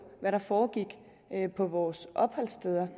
hvad der foregik på vores opholdssteder